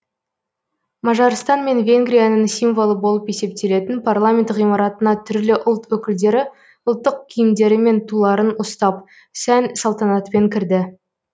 мажарстан мен венгрияның символы болып есептелетін парламент ғимаратына түрлі ұлт өкілдері ұлттық киімдері мен туларын ұстап сән салтанатпен кірді